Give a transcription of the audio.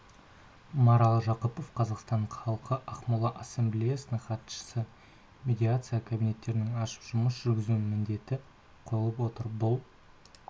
марал жақыпова қазақстан халқы ақмола ассамблеясының хатшысы медиация кабинеттерін ашып жұмыс жүргізу міндеті қойылып отыр бұл